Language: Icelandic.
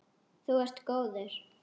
Þú ert góður.